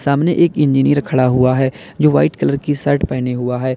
सामने एक इंजीनियर खड़ा हुआ है जो वाइट कलर की शर्ट पहने हुआ है।